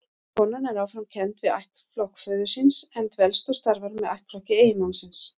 Konan er áfram kennd við ættflokk föður síns, en dvelst og starfar með ættflokki eiginmannsins.